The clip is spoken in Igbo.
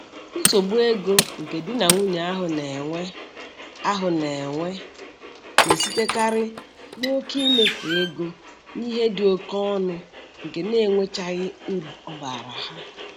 Nsogbu ego nke di na nwunye ahụ na-enwe ahụ na-enwe na-esitekarị n'oke imefu ego n'ihe dị oke ọnụ nke na-enwechaghị uru ọ baara ha